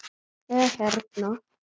eða hérna